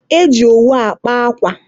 e ji owu akpa akwa.